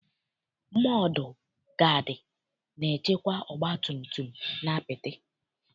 Mọdụ gaadị na-echekwa ọgbatumtum n'apịtị.